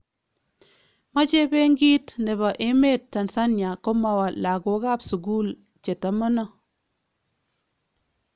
Mache beenkit nebo emeet Tanzania komawaa lakookab sukuul chetamano